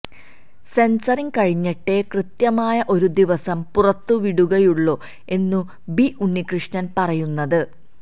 censoring കഴിഞ്ഞിട്ടെ കൃത്യമായ ഒരു ദിവസം പുറത്ത് വിടുകയുള്ളു എന്നും ബി ഉണ്ണികൃഷ്ണന് പറയുന്നത്